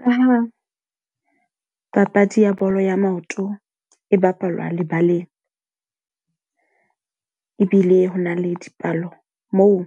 Ka ha papadi ya bolo ya maoto e bapalwa lebaleng. ebile hona le dipalo moo